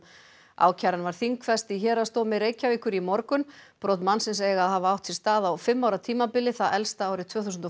ákæran var þingfest í Héraðsdómi Reykjavíkur í morgun brot mannsins eiga að hafa átt sér stað á fimm ára tímabili það elsta árið tvö þúsund og